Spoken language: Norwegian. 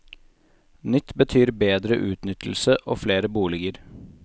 Nytt betyr bedre utnyttelse, og flere boliger.